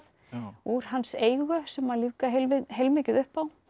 úr hans eigu sem lífga heilmikið upp á